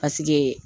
Paseke